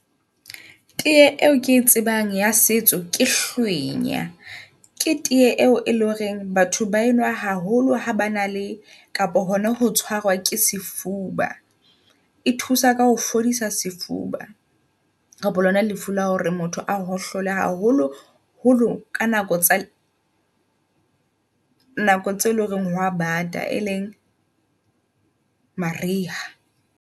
Tee eo ke e tsebang ya setso ke hlwenya ke teye eo e leng horeng batho ba enwa haholo ha ba na le kapo. Hona ho ke sefuba. E thusa ka ho fodisa sefuba. Kapa lona lefu la hore motho hohlola haholo holo ka nako tsa nako tseo eleng hore hoa bata e leng maria.